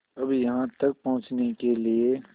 अब यहाँ तक पहुँचने के लिए